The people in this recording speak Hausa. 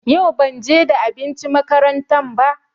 Yau banje da abinci makaranta ba.